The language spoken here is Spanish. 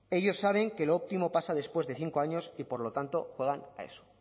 ellos saben que lo óptimo pasa después de cinco años y por lo tanto juegan a eso